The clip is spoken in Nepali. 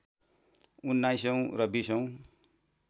१९ औँ र २० औँ